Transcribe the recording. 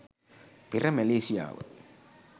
පෙර මැලේසියාව